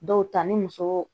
Dɔw ta ni muso